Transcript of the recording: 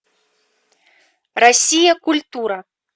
россия культура